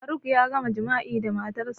Faruk ya gama jima'i da matarsa